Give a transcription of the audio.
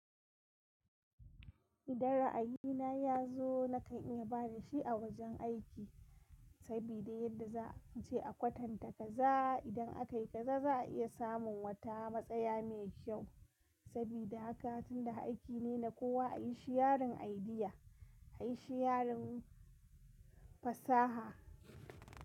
Idan ra'ayina yazo nakan iya bada shi a wajen aiki sabida yadda za a je a kwatanta kaza. Idan aka yi kaza za a iya samun wata matsaya mai kyau sabida haka tunda aiki ne na kowa ayi shiyarin idea, ayi shiyarin fasaha.